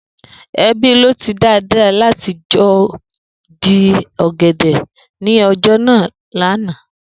Ebi ló ti Dàda láti lo̩ jí ò̩gè̩dè̩ ní o̩jà lánàá